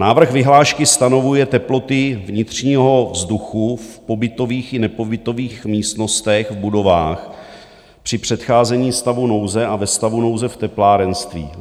Návrh vyhlášky stanovuje teploty vnitřního vzduchu v pobytových i nepobytových místnostech v budovách při předcházení stavu nouze a ve stavu nouze v teplárenství.